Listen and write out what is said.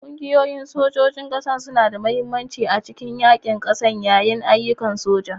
Ƙungiyoyin sojojin ƙasa suna da mahimmanci a cikin yaƙin ƙasa yayin ayyukan soja.